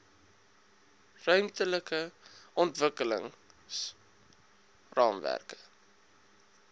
ruimtelike ontwikkelings raamwerke